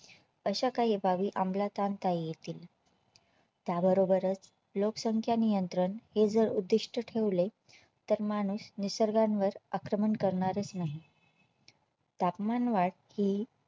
अशा काही बाबी अमलात आणता येतील त्या बरोबरच लोकसंख्या नियंत्रण हे जर उद्दिष्ट ठेवले तर माणूस निसर्गावर आक्रमण करणारच नाही तापमानवाढी हि